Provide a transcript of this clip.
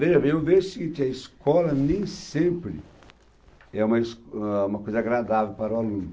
Veja bem, eu vejo o seguinte, a escola nem sempre é uma é uma coisa agradável para o aluno.